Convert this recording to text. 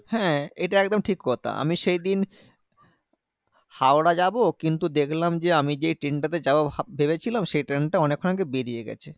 হ্যাঁ এটা একদম ঠিক কথা। আমি সেইদিন হাওড়া যাবো কিন্তু দেখলাম যে, আমি যে ট্রেনটা তে যাবো ভাব~ ভেবেছিলাম সেই ট্রেনটা অনেক্ষন আগে বেরিয়ে গেছে।